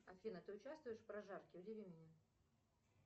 афина ты участвуешь в прожарке удиви меня